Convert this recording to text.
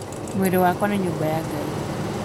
Mwĩrĩ wakwa nĩ nyũmba ya Ngai